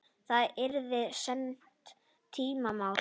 Það yrði seinni tíma mál.